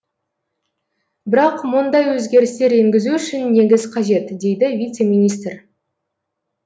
бірақ мұндай өзгерістер енгізу үшін негіз қажет дейді вице министр